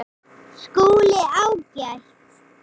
SKÚLI: Ágætt!